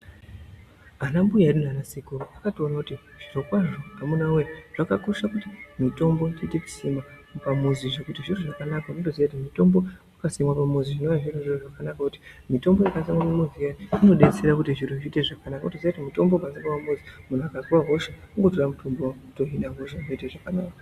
Ana mbuya edu nana sekuru akatokona kuti zvirokwazvo amunawe zvakakosha kuti mutombo tiite ekusimwa pamuzi zvekuti zviro zvakanaka unotoziye kuti mitombo wakasimwe pamuzi zvinova zviri zviro zvakanaka kuti mitombo yakasimwa iya pamuzi inodetsera kuti zviro zviite zvakanaka , wotoziya kuti mutombo ukasimwe pamuzi muntu akazwe hosha kungotora mutombo wohina hosha zvotoita zvakanaka.